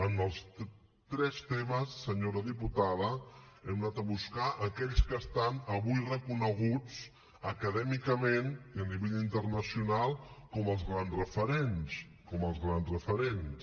en els tres temes senyora diputada hem anat a buscar aquells que estan avui reconeguts acadèmicament i a nivell internacional com els grans referents com els grans referents